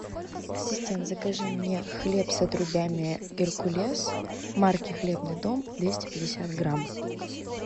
ассистент закажи мне хлеб с отрубями геркулес марки хлебный дом двести пятьдесят грамм